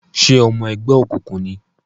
Ṣe ọmọ ẹgbẹ́ okunkun ní?